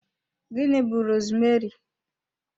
Gịnị bú rosmeri?